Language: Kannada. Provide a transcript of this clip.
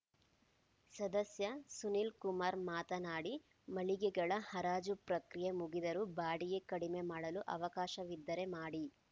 ಸದಸ್ಯ ಸುನೀಲ್‌ಕುಮಾರ್‌ ಮಾತನಾಡಿ ಮಳಿಗೆಗಳ ಹರಾಜು ಪ್ರಕ್ರಿಯೆ ಮುಗಿದರೂ ಬಾಡಿಗೆ ಕಡಿಮೆ ಮಾಡಲು ಅವಕಾಶವಿದ್ದರೆ ಮಾಡಿ